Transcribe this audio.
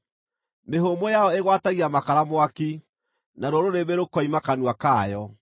Mĩhũmũ yayo ĩgwatagia makara mwaki, naruo rũrĩrĩmbĩ rũkoima kanua kayo.